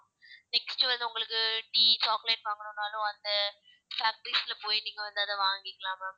next வந்து உங்களுக்கு tea, chocolate வாங்கணும்னாலும் அந்த factories ல போயி நீங்க வந்து அத வாங்கிக்கலாம் ma'am